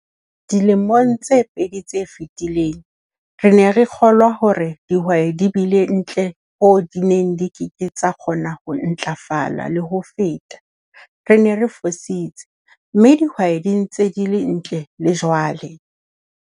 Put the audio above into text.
Dilemong tse pedi tse fetileng, re ne re kgolwa hore dihwai di bile ntle hoo di neng di ke ke tsa kgona ho ntlafala le ho feta - re ne re fositse, mme dihwai di ntse di le ntle le jwale!